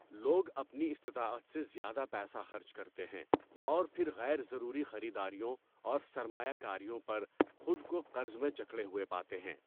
لوگ اپنی استطاعت سے زیادہ پیسہ خرچ کرتے ہیں اور پھر غیر ضروری خریداریوں اور سرمایہ کاریوں پر خود کو قرض میں جکڑے ہوئے پاتے ہیں۔